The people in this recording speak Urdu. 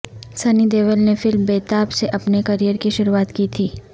سنی دیول نے فلم بیتاب سے اپنے کریئر کی شروعات کی تھی